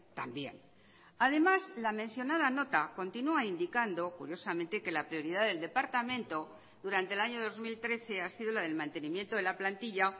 también además la mencionada nota continúa indicando curiosamente que la prioridad del departamento durante el año dos mil trece ha sido la del mantenimiento de la plantilla